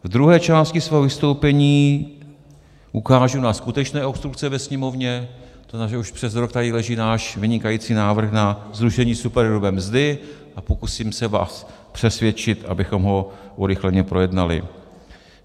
V druhé části svého vystoupení ukážu na skutečné obstrukce ve Sněmovně, to znamená, že už přes rok tady leží náš vynikající návrh na zrušení superhrubé mzdy, a pokusím se vás přesvědčit, abychom ho urychleně projednali.